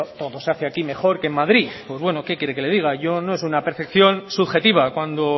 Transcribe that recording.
todo se hace aquí mejor que en madrid pues bueno qué quiere que le diga yo no es una perfección subjetiva cuando